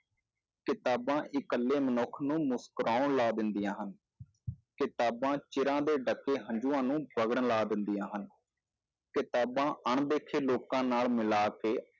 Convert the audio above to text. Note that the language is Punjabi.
ਕਿਤਾਬਾਂ ਇਕੱਲੇ ਮਨੁੱਖ ਨੂੰ ਮੁਸ਼ਕਰਾਉਣ ਲਾ ਦਿੰਦੀਆਂ ਹਨ ਕਿਤਾਬਾਂ ਚਿਰਾਂ ਦੇ ਡੱਕੇ ਹੰਝੂਆਂ ਨੂੰ ਵਗਣ ਲਾ ਦਿੰਦੀਆਂ ਹਨ, ਕਿਤਾਬਾਂ ਅਣਡਿੱਠੇ ਲੋਕਾਂ ਨਾਲ ਮਿਲਾ ਕੇ